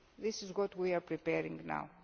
This what we are preparing now.